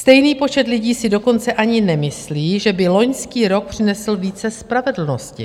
Stejný počet lidí si dokonce ani nemyslí, že by loňský rok přinesl více spravedlnosti.